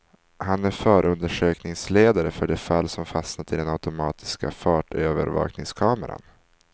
Han är förundersökningsledare för de fall som fastnat i den automatiska fartövervakningskameran.